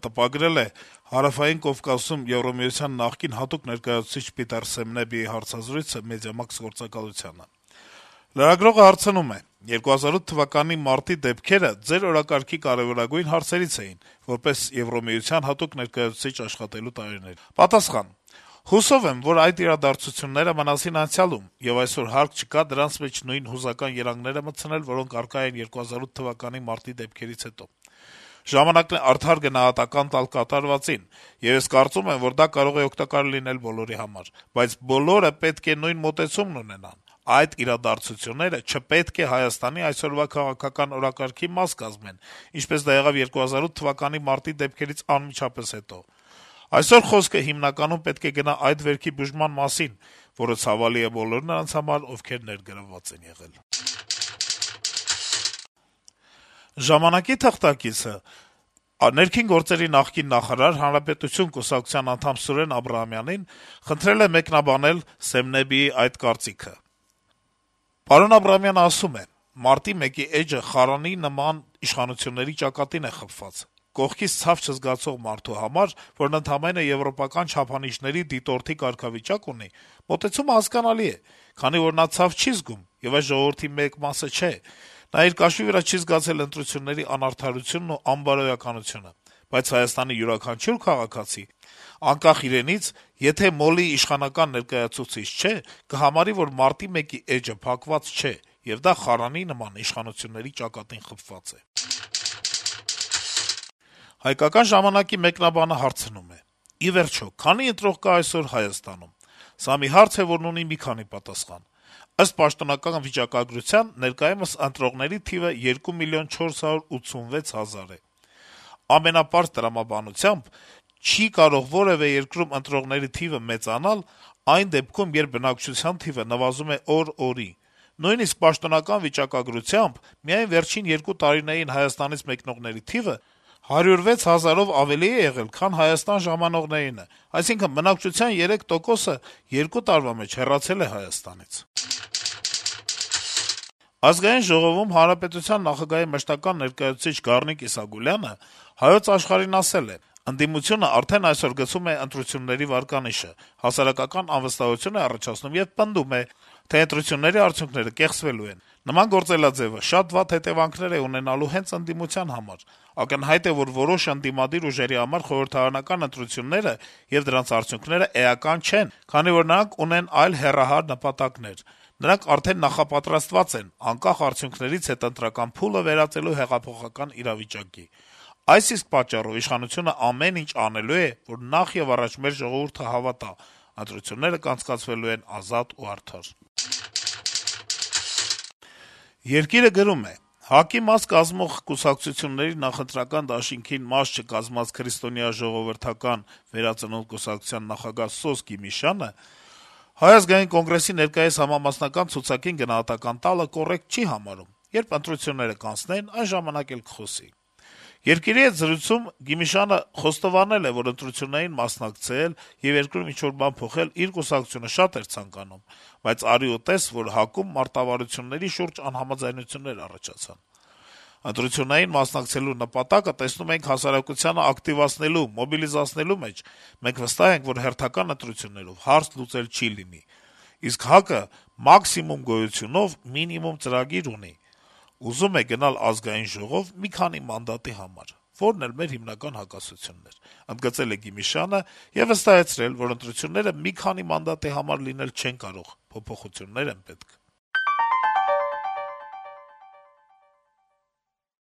տպագրել է Հարավային Կովկասում ԵՄ նախկին հատուկ ներկայացուցչի հարցազրույցը Մեդիամաքս գործակալությանը։ Լրագրողը հարցնում է․ - «2008 թվականի մարտի դեպքերը Ձեր օրակարգի կարեւորագույն հարցերից էին` որպես ԵՄ հատուկ ներկայացուցիչ աշխատելու տարիներին»։ Սեմնեբին պատասխանում է․ - «Հուսով եմ, որ այդ իրադարձությունները մնացին անցյալում, եւ այսօր հարկ չկա դրանց մեջ նույն հուզական երանգները մտցնել, որոնք առկա էին 2008 թվականի մարտի դեպքերից հետո: Ժամանակն է արդար գնահատական տալ կատարվածին, եւ ես կարծում եմ, որ դա կարող է օգտակար լինել բոլորի համար: Բայց բոլորը պետք է նույն մոտեցումն ունենան: Այդ իրադարձությունները չպետք է Հայաստանի այսօրվա քաղաքական օրակարգի մաս կազմեն, ինչպես դա եղավ 2008 թ. մարտի դեպքերից անմիջապես հետո: Այսօր խոսքը հիմնականում պետք է գնա այդ վերքի բուժման մասին, որը ցավալի է բոլորի նրանց համար, ովքեր ներգրավված են եղել»։ «Ժամանակ»-ի թղթակիցը ՆԳ նախկին նախարար, «Հանրապետություն» կուսակցության անդամ Սուրեն Աբրահամյանին խնդրել է մեկնաբանել Սեմնեբիի այդ կարծիքը։ Պարոն Աբրահամյանը ասում է․ - «Մարտի 1-ի էջը խարանի նման իշխանությունների ճակատին է խփված: Կողքից ցավ չզգացող մարդու համար, որն ընդամենը եվրոպական չափանիշների դիտորդի կարգավիճակ ունի, մոտեցումը միանգամայն հասկանալի է, քանի որ նա ցավ չի զգում և այս ժողովրդի մեկ մասը չէ, նա իր կաշվի վրա չի զգացել ընտրությունների անարդարությունն ու անբարոյականությունը: Բայց ՀՀ յուրաքանչյուր քաղաքացի, անկախ նրանից, եթե մոլի իշխանական ներկայացուցիչ չէ, կհամարի, որ մարտի 1-ի էջը փակված չէ, և դա խարանի նման իշխանությունների ճակատին խփված է»։ «Հայկական ժամանակ»-ի մեկնաբանը հարցնում է․ - «Ի վերջո, քանի՞ ընտրող կա այսօր Հայաստանում: Սա մի հարց է, որն ունի մի քանի պատասխան: Ըստ պաշտոնական վիճակագրության` ներկայումս ընտրողների թիվը 2 միլիոն 486 հազար է: Ամենապարզ տրամաբանությամբ, չի կարող որեւէ երկրում ընտրողների թիվը մեծանալ` այն դեպքում, երբ բնակչության թիվը նվազում է օր օրի: Նույնիսկ պաշտոնական վիճակագրությամբ` միայն վերջին երկու տարիներին Հայաստանից մեկնողների թիվը 106 հազարով ավելի է եղել, քան Հայաստան ժամանողներինը: Այսինքն, բնակչության երեք տոկոսը երկու տարվա մեջ հեռացել է Հայաստանից»: Ազգային ժողովում Հանրապետության նախագահի մշտական ներկայացուցիչ Գառնիկ Իսագուլյանը «Հայոց աշխարհ»-ին ասել է․ - «Ընդդիմությունը արդեն այսօր գցում է ընտրությունների վարկանիշը, հասարակական անվստահություն է առաջացնում եւ պնդում է, թե ընտրությունների արդյունքները կեղծվելու են: Նման գործելաձեւը շատ վատ հետեւանքներ է ունենալու հենց ընդդիմության համար: Ակնհայտ է, որ որոշ ընդդիմադիր ուժերի համար խորհրդարանական ընտրությունները եւ դրանց արդյունքներն էական չեն, քանի որ նրանք ունեն այլ հեռահար նպատակներ: Նրանք արդեն նախատրամադրված են, անկախ արդյունքներից, հետընտրական փուլը վերածելու հեղափոխական իրավիճակի: Այս իսկ պատճառով իշխանությունը ամեն ինչ անելու է, որ նախեւառաջ մեր ժողովուրդը հավատա. ընտրությունները անցկացվելու են ազատ ու արդար»: «Երկիր»-ը գրում է․ - «ՀԱԿ-ի նախընտրական դաշինքին չմիացած «Քրիստոնեա-ժողովրդական վերածնունդ» կուսակցության նախագահ Սոս Գիմիշյանը ՀԱԿ-ի ներկայիս համամասնական ցուցակին գնահատական տալը կոռեկտ չի համարում. երբ ընտրություններն անցնեն, այն ժամանակ էլ կխոսի: «Երկիր»-ի հետ զրույցում Գիմիշյանը խոստովանեց, որ ընտրություններին մասնակցել եւ երկրում ինչ-որ բան փոխել իր կուսակցությունը շատ էր ցանկանում, բայց, դե արի ու տես, որ ՀԱԿ-ում մարտավարության հարցում անհամաձայնություններ առաջացան: «Ընտրություններին մասնակցելու նպատակը տեսնում էինք հասարակությանը ակտիվացնելու, մոբիլիզացնելու մեջ: Մենք վստահ ենք, որ հերթական ընտրություններով հարց լուծել չի լինի: Իսկ ՀԱԿ-ը մաքսիմում գոյությունով մինիմում ծրագիր ունի, եւ ուզում են գնալ ԱԺ մի քանի մանդատի համար, որն էլ մեր հիմնական հակասությունն էր»,- ընդգծել է Գիմիշյանը եւ վստահեցրել, որ ընտրությունները մի քանի մանդատի համար լինել չեն կարող, փոփոխություններ են պետք»: